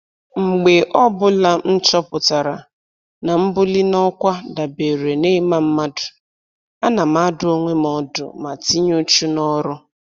Mgbe ọbụla m chọpụtara na mbuli n'ọkwa dabeere na ịma mmadụ, ana m adụ onwe m ọdụ ma tinye uchu n'ọrụ